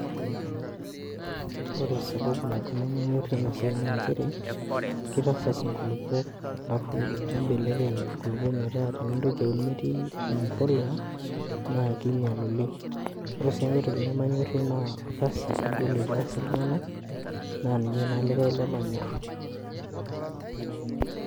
Ore sababu nabo nemanyorie enasiai naa nchere kitasas inkulupuok alafu nibelekeny nkulukuok metaa tinintoki aun mitii empolea naa kinyial oleng . Ore sienkae toki nemanyorie naa orkasi ogol oitaasi iltunganak naa ninye naa likae lemanyor .